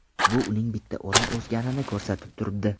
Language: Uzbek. Bu uning bitta o‘rin o‘sganini ko‘rsatib turibdi.